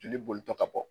Jeli bolitɔ ka bɔ bɔ